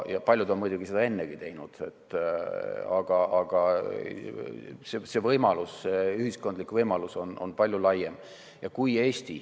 Paljud on muidugi seda ennegi teinud, aga see võimalus, ühiskondlik võimalus, on palju laiem.